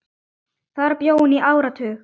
Þar bjó hún í áratug.